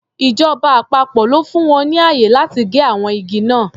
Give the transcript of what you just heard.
Ìjọba àpapọ̀ ló fún wọn ní ààyè láti gé àwọn igi náà.